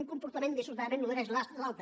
un comportament dissortadament nodreix l’altre